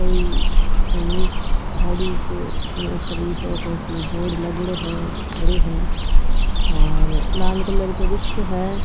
कोई सैनिक सड़ीक के ऊपर इसो सो बोर्ड लागेडॉ है खड़ो है और लाल कलर को रिक्शों है।